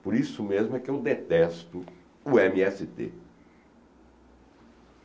Por isso mesmo é que eu detesto o eme esse tê